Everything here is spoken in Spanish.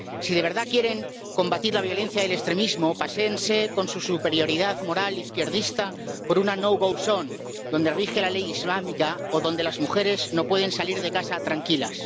Si de verdad quieren combatir la violencia y el extremismo, paséense con su superioridad moral izquierdista por una no go zone donde rige la ley islámica o donde las mujeres no pueden salir de casa tranquilas.